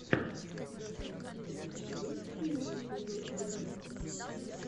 у тебя в каталоге есть первый эпизод глебастика